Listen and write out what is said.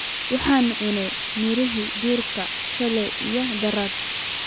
waxaan cunne miraha durka shaley iyo darad